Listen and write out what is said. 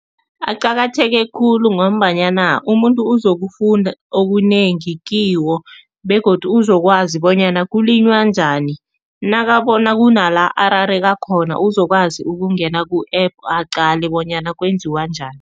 Aqakatheke khulu ngombanyana umuntu uzokufunda okunengi kiwo begodu uzokwazi bonyana kulinywa njani nakabona kunala arareka khona uzokwazi ukungena ku-App aqale bonyana kwenziwa njani.